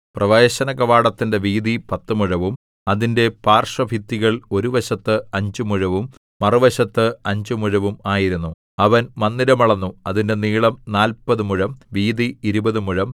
പ്രവേശനകവാടത്തിന്റെ വീതി പത്തു മുഴവും അതിന്റെ പാർശ്വഭിത്തികൾ ഒരു വശത്ത് അഞ്ച് മുഴവും മറുവശത്ത് അഞ്ച് മുഴവും ആയിരുന്നു അവൻ മന്ദിരം അളന്നു അതിന്റെ നീളം നാല്പതു മുഴം വീതി ഇരുപതു മുഴം